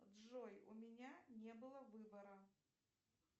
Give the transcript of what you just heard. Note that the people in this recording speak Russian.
джой у меня не было выбора